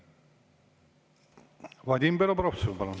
Vadim Belobrovtsev, palun!